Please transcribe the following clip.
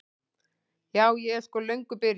Ja, ég er sko löngu byrjuð.